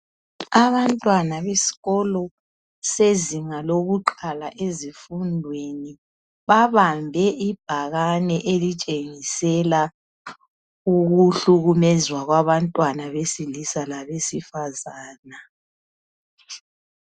Abantwana besikolo sezinga lokuqala ezifundweni, bahambe ibhakani elitshengisela ukuhlukumezwa kwabantwana besilisa labesifazana.